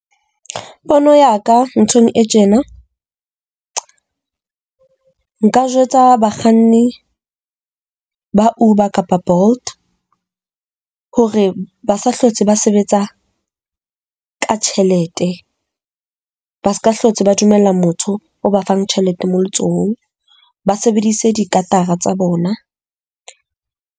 Pono ya ka nthong e tjena, nka jwetsa bakganni ba Uber kapa Bolt hore ba sa hlotse ba sebetsa ka tjhelete. Ba se ka hlotse ba dumella motho o ba fang tjhelete moo letsohong, ba sebedise tsa bona.